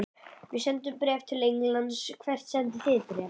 Við sendum bréf til Englands. Hvert sendið þið bréf?